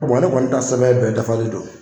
ne kɔni ta sɛbɛn bɛɛ dafalen don